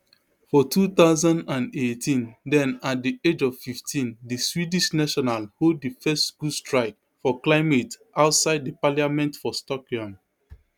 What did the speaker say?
for two thousand and eighteen den at di age of fifteen di swedish national hold di first school strike for climate outside di parliament for stockholm